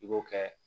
I b'o kɛ